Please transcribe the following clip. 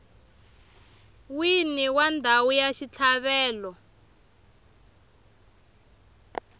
wini wa ndhawu ya xitlhavelo